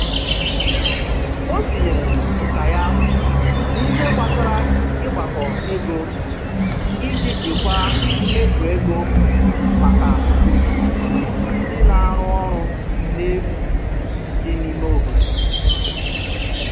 O tinyere nka ya n'ihe gbasara ịgbakọ ego iji jikwaa mmefu ego maka otu ndị na-arụ ọrụ n'efu dị n'ime obodo.